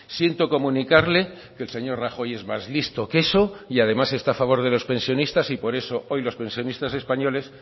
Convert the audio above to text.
siento comunicarle que el señor rajoy es más listo que eso y además está a favor de los pensionistas y por eso hoy los pensionistas españoles